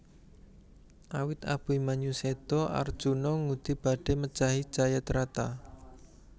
Awit Abimanyu séda Arjuna ngudi badhé mejahi Jayadrata